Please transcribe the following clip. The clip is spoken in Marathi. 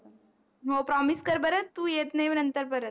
हो promise कर बर तू येत नाही नंतर परत